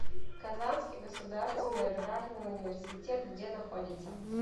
казанский государственный аграрный университет где находится